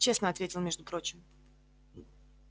честно ответил между прочим